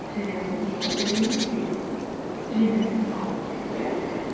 және осы жолы жеңіс алып келеді